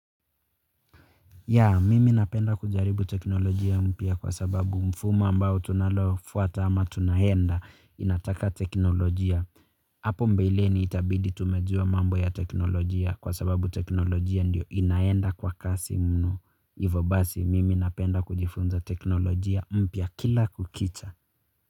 Ya, mimi napenda kujaribu teknolojia mpya kwa sababu mfumo ambao tunalofuata ama tunaenda inataka teknolojia. Hapo mbeleni itabidi tumejua mambo ya teknolojia kwa sababu teknolojia ndio inaenda kwa kasi mno. Ivo basi, mimi napenda kujifunza teknolojia mpya kila kukicha.